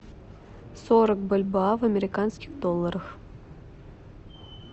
сорок бальбоа в американских долларах